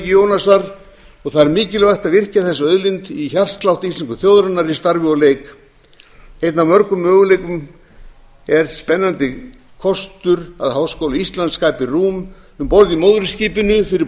jónasar og það er mikilvægt að virkja þessa auðlind inn í hjartslátt þjóðarinnar í starfi og leik einn af mörgum möguleikum er sá spennandi kostur að háskóli íslands skapi rúm um borð í móðurskipinu fyrir